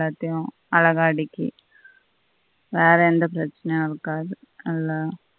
அழகா அடுக்கி வெற எந்த பிரச்சினையும் இருக்காது நல்லா